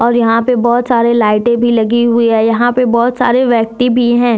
यहां पे बहोत सारे लाइटें भी लगी हुई है यहां पे बहोत सारे व्यक्ति भी है।